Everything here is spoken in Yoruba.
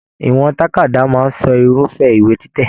Ìwọ̀n tàkádá máa sọ irufẹ ìwé títẹ.